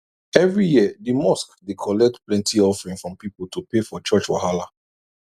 every year the mosque dey collect plenty offering from people to pay for church wahala